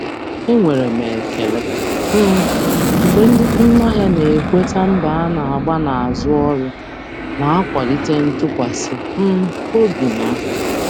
Enwere m ekele um mgbe ndị um ahịa na-ekweta mbọ a na-agba n'azụ ọrụ, na-akwalite ntụkwasị um obi m.